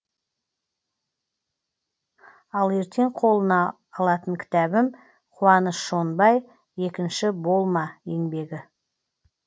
ал ертең қолыма алатын кітабым куаныш шонбай екінші болма еңбегі